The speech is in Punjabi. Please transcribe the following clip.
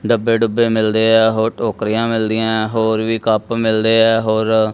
ਡੱਬੇ ਡੁੱਬੇ ਮਿਲਦੇ ਆ ਹੋਰ ਟੋਕਰੀਆਂ ਮਿਲਦੀਆਂ ਏ ਆ ਹੋਰ ਵੀ ਕੱਪ ਮਿਲਦੇ ਆ ਹੋਰ--